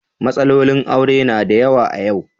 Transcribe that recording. Matsalolin aure na da yawa a yau.